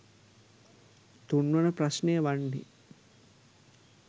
තුන්වන ප්‍රශ්නය වන්නේ